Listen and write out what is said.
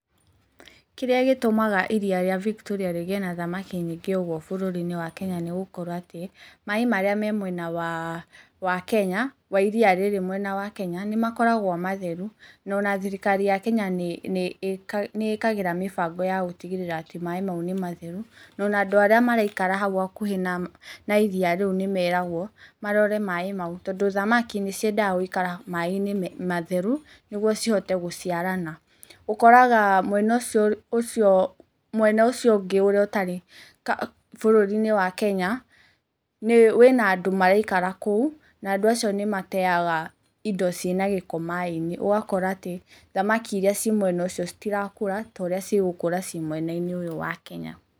Kĩrĩa gĩtũmaga iria rĩa Victoria rĩgĩe na thamaki nyingĩ ũguo bũrũri~inĩ wa Kenya nĩgũkorwo atĩ maaĩ marĩa me mwena wa Kenya wa iria riria mwenya wa Kenya nĩ makoragwo matheru. Na ona thirikari ya Kenya nĩ ĩkagira mĩbango ya gũtigĩrĩra atĩ maaĩ mau nĩ matheru na ona andũ arĩa maraikara hau hakuhi na iria rĩu nĩ meragwo marore maaĩ mau. Tondũ thamaki nĩ ciendaga gũikara maaĩ~inĩ matheru nĩgwo cihote gũciarana. Ũkoraga mwena ũcio ũngĩ ũtarĩ bũrũri~inĩ wa Kenya wĩna andũ maraikara kũu na andũ acio nĩ matega indo ciĩna gĩko maaĩ~inĩ. Ũgakora atĩ thamaki iria cimwena ũcio cĩtirakũra ta ũrĩa ciɡũkũra cĩ mwena~inĩ ũyũ wa Kenya.